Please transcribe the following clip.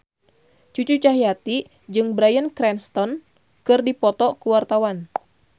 Cucu Cahyati jeung Bryan Cranston keur dipoto ku wartawan